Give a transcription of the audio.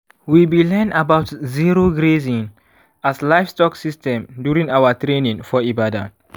we bi learn about zero grazing as livestock system during our training for ibadan